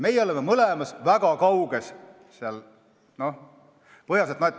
Meie oleme mõlemas asjas parimatest väga kaugel.